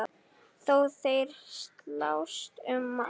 Þó þeir slást um margt.